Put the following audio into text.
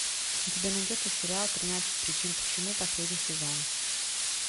у тебя найдется сериал тринадцать причин почему последний сезон